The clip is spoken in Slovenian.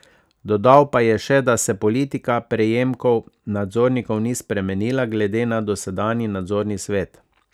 Dodal pa je še, da se politika prejemkov nadzornikov ni spremenila glede na dosedanji nadzorni svet.